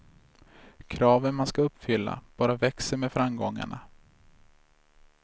Kraven man ska uppfylla bara växer med framgångarna.